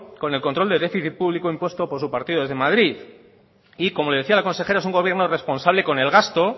con el control déficit público impuesto por su partido desde madrid y como decía la consejera es un gobierno responsable con el gasto